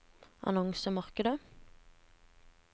annonsemarkedet